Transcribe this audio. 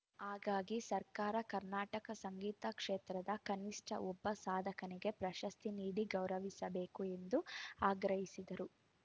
ಹಾಗಾಗಿ ಸರ್ಕಾರ ಕರ್ನಾಟಕ ಸಂಗೀತ ಕ್ಷೇತ್ರದ ಕನಿಷ್ಠ ಒಬ್ಬ ಸಾಧಕನಿಗೆ ಪ್ರಶಸ್ತಿ ನೀಡಿ ಗೌರವಿಸಬೇಕು ಎಂದು ಆಗ್ರಹಿಸಿದರು